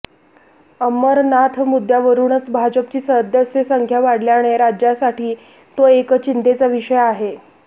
अमरनाथ मुद्यावरूनच भाजपची सदस्य संख्या वाढल्याने राज्यासाठी तो एक चिंतेचा विषय आहे